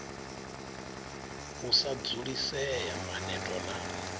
u sa dzulisea maneto na